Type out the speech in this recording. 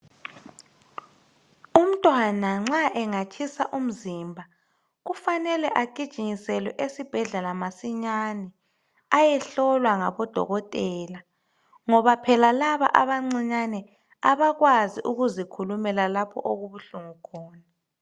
Umntwana nxa engatshisa umzimba kufanele agijinyiselwe masinyane ayehlolwa ngodokotela ngoba phela laba abancinyane abakwazi ukuzikhulumela lapho okubuhlungu khona.